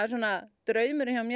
draumurinn hjá mér